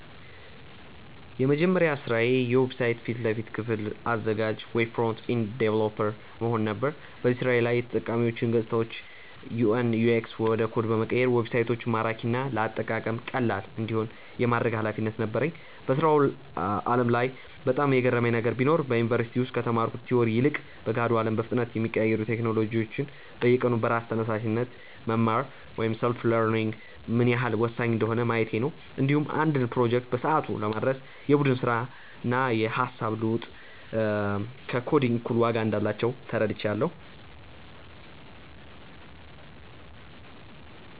የመጀመሪያ ስራዬ የዌብሳይት ፊት ለፊት ክፍል አዘጋጅ (Web Front-End Developer) መሆን ነበር። በዚህ ስራዬ ላይ የተጠቃሚዎችን ገፅታዎች (UI/UX) ወደ ኮድ በመቀየር ዌብሳይቶች ማራኪና ለአጠቃቀም ቀላል እንዲሆኑ የማድረግ ኃላፊነት ነበረኝ። በስራው ዓለም ላይ በጣም የገረመኝ ነገር ቢኖር፣ በዩኒቨርሲቲ ውስጥ ከተማርኩት ቲዎሪ ይልቅ በገሃዱ አለም በፍጥነት የሚቀያየሩ ቴክኖሎጂዎችን በየቀኑ በራስ ተነሳሽነት መማር (Self-learning) ምን ያህል ወሳኝ እንደሆነ ማየቴ ነው። እንዲሁም አንድን ፕሮጀክት በሰዓቱ ለማድረስ የቡድን ስራና የሃሳብ ልውውጥ ከኮዲንግ እኩል ዋጋ እንዳላቸው ተረድቻለሁ።